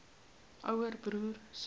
ouer broer suster